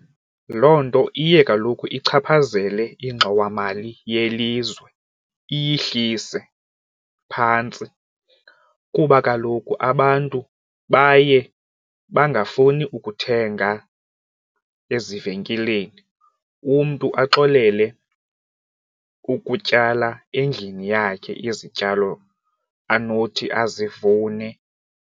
Loo nto iye kaloku ichaphazele ingxowamali yelizwe iyihlise phantsi kuba kaloku abantu baye bangafuni ukuthenga ezivenkileni umntu axolele ukutyala endlini yakhe izityalo anothi azivune.